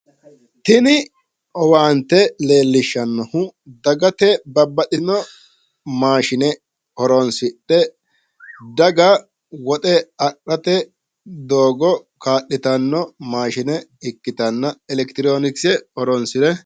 Tini owaantte lellishshannohu dagate babbaxitino maashine horonsidhe daga woxe adhate doogo kaa'litanno maashine ikkitanna elekitiroonikise horonsire...